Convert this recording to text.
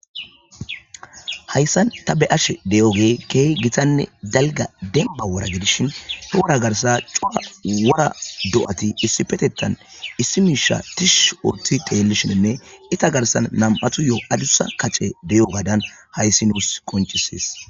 Hayssan ta be ashe deyo gee kehy gitanne dalga denba wora gidishin he wora garsa cua wura do7ati issi petettan issi miisha tish urti teellishinne ita garsan nam7atu yo7o adussa kacce deyo gaadan hayssi nuus konchisis.